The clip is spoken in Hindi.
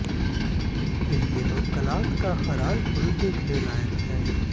इन दिनों कलाथ का खराल पुल देखने लायक है